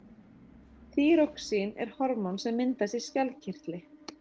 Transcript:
þýróxín er hormón sem myndast í skjaldkirtli